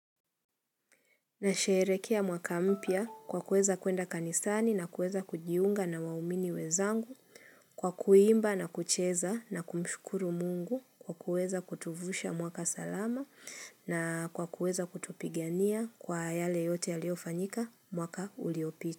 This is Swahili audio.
Nasherehekea mwaka mpya kwa kuweza kuenda kanisani na kuweza kujiunga na waumini wenzangu kwa kuimba na kucheza na kumshukuru mungu kwa kuweza kutuvusha mwaka salama na kwa kuweza kutupigania kwa yale yote yaliyofanyika mwaka uliopita.